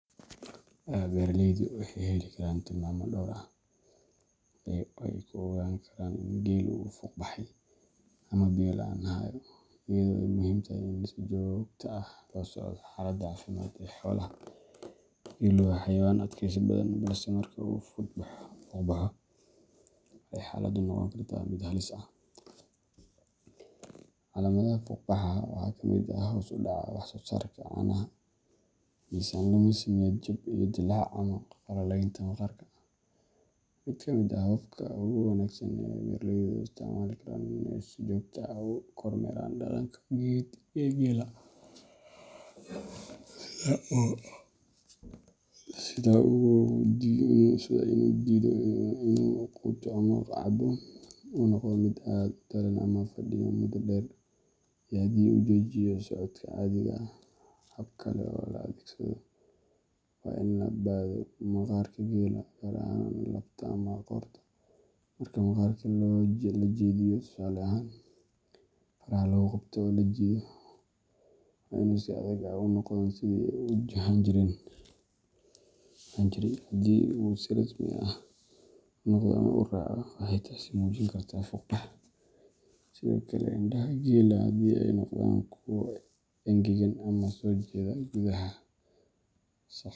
Beeraleydu waxay heli karaan tilmaamo dhowr ah oo ay ku ogaan karaan in geelu uu fuuqbaxay ama biyo la’aan hayo, iyadoo ay muhiim tahay in si joogto ah loo la socdo xaaladda caafimaad ee xoolaha. Geelu waa xayawaan adkaysi badan, balse marka uu fuuqbaxo, waxay xaaladdu noqon kartaa mid halis ah. Calaamadaha fuuqbaxa waxaa ka mid ah hoos u dhaca wax-soosaarka caanaha, miisaan lumis, niyad jab, iyo dillaac ama qallalaynta maqaarka. Mid ka mid ah hababka ugu wanaagsan ee beeraleydu u isticmaali karaan waa inay si joogto ah u kormeeraan dhaqanka guud ee geela, sida inuu diido inuu quuto ama cabbo, uu noqdo mid aad u daallan ama fadhiya muddo dheer, iyo haddii uu joojiyo socodka caadiga ah. Hab kale oo la adeegsado waa in la baadho maqaarka geela, gaar ahaan laabta ama qoorta. Marka maqaarka la jeediyo tusaale ahaan faraha lagu qabto oo la jiido, waa inuu si degdeg ah ugu noqdaa sidii uu ahaan jiray. Haddii uu si tartiib ah ugu noqdo ama uu raago, waxay taasi muujin kartaa fuuqbax. Sidoo kale, indhaha geela haddii ay noqdaan kuwo engegan ama soo jeeda gudaha sagxadda.